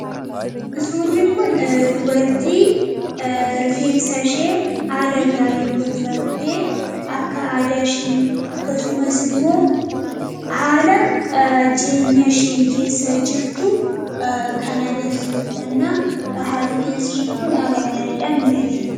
suurri kun dubartii rifeensashee haala gaariin tolfamte akka aadaashii akkasumas immoo haala jireenya isheen keessa jirtu kan agarsiisudhanna haalli rifeensashee kun haala gaariidhaan miidhage